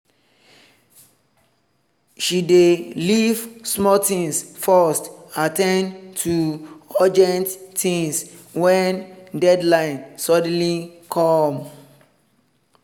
she dey leave small things first at ten d to urgent things when deadline suddenly come